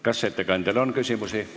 Kas ettekandjale on küsimusi?